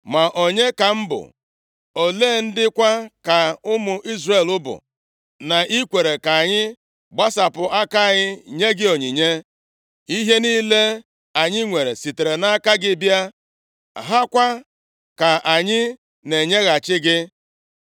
“Ma onye ka m bụ, ole ndị kwa ka ụmụ Izrel bụ, na i kweere ka anyị gbasapụ aka anyị nye gị onyinye. Ihe niile anyị nwere sitere nʼaka gị bịa, ha kwa ka anyị na-enyeghachi gị.